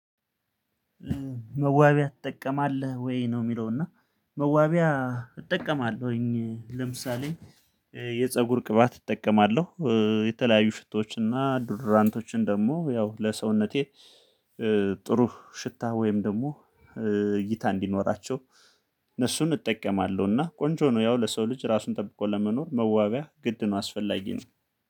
መዋቢያ ትጠቀማለህ ወይ ነው የሚለው? እና መዋቢያ እጠቀማለሁኝ ለምሳሌ የፀጉር ቅባት እጠቀማለሁ የተለያዩ ሽቶዎች እና ዱድራንቶችን ደግሞ ያው ለሰውነቴ። ጥሩ ሽታ ወይም ደግሞ እይታ እንዲኖራቸው እነሱን እጠቀማለሁ። እና ቆንጆ ነው ያው ለሰው ልጅ ራሱን ጠብቆ ለመኖር መዋቢያ ግድ ነው አስፈላጊ ነው።